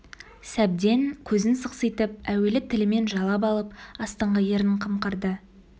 сәбден көзін сықситып әуелі тілімен жалап алып астыңғы ернін қымқырды